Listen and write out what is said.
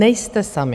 Nejste sami.